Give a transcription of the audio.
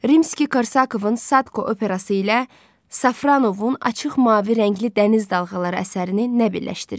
Rimski-Korsakovun Sadko operası ilə Safronovun açıq mavi rəngli dəniz dalğaları əsərini nə birləşdirir?